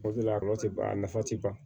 O de la a nafa tɛ ban